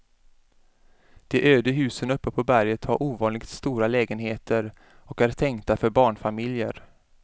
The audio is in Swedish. De öde husen uppe på berget har ovanligt stora lägenheter och är tänkta för barnfamiljer.